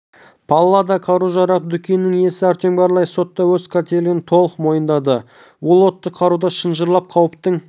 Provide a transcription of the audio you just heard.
паллада қару-жарақ дүкенінің иесі артем горлаев сотта өз қателігін толық мойындады ол отты қаруды шынжырлап қауіптің